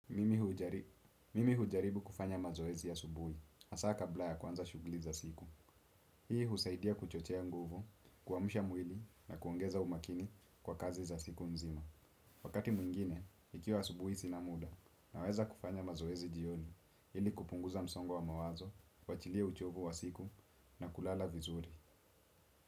Mimi hujaribu kufanya mazoezi ya subuhi, hasa kabla ya kuanza shugli za siku. Hii husaidia kuchochea nguvu, kuamsha mwili na kuongeza umakini kwa kazi za siku mzima. Wakati mwingine, ikiwa asubuhi sina muda naweza kufanya mazoezi jioni, ili kupunguza msongo wa wa mawazo, kuachilia uchovu wa siku na kulala vizuri.